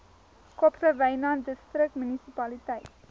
kaapse wynland distriksmunisipaliteit